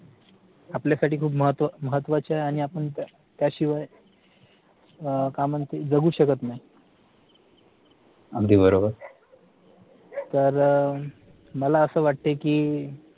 आपल्यासाठी खूप महत्व महत्वाच्या आणि आपण त्याशिवाय अह काय म्हणता जगू शकत नाही तर अह मला असं वाटते कि